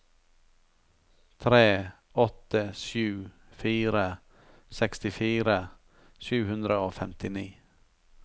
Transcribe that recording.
tre åtte sju fire sekstifire sju hundre og femtini